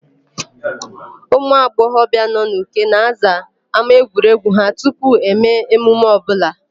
Ụmụagbọghọbịa nọ n'Uke na-aza ámáegwuregwu ha tupu eme emume ọbụla.